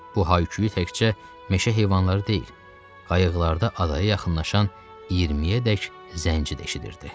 Bu hay-küyü təkcə meşə heyvanları deyil, qayıqlarda adaya yaxınlaşan 20-yədək zənci də eşidirdi.